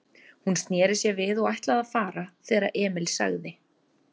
Hún sneri sér við og ætlaði að fara, þegar Emil sagði